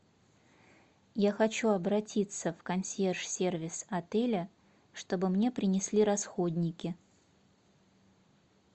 я хочу обратиться в консьерж сервис отеля чтобы мне принесли расходники